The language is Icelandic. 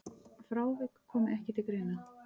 Frávik komi ekki til greina.